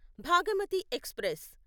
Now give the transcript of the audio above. Bhagamathi express